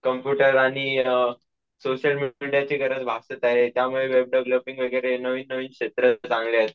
Computer आणि अम social media ची गरज भासते त्यामुळे वेब डेवेलोपिंग वगैरे नवीन नवीन क्षेत्र चांगले आहेत.